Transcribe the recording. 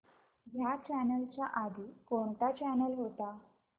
ह्या चॅनल च्या आधी कोणता चॅनल होता